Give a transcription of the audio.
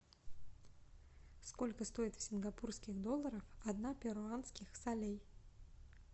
сколько стоит в сингапурских долларах одна перуанских солей